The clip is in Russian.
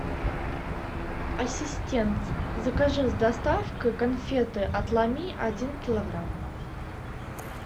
ассистент закажи с доставкой конфеты отломи один килограмм